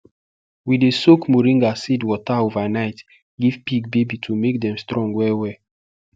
we dey soak moringa seed water overnight give pig baby to make them strong well well